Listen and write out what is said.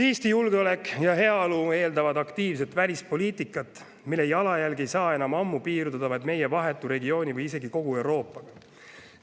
Eesti julgeolek ja heaolu eeldavad aktiivset välispoliitikat, mille jalajälg ei saa enam ammu piirduda vaid meie vahetu regiooni või isegi kogu Euroopaga.